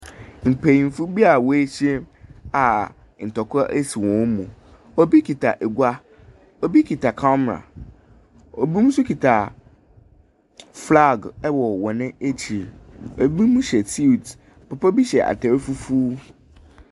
Mpayimfo bi a woehyia a ntokwa esi wonmu obi kita egua obi kita kamera obi nso kita flag ewo wɔn akyir ebimu hyɛ syuit obi hyɛ atar fufuu.